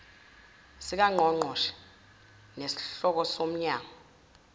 sikangqongqoshe nesenhloko yomnyango